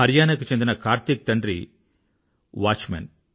హరియానా కు చెందిన కార్తీక్ తండ్రి కాపలాదారుడువాచ్మేన్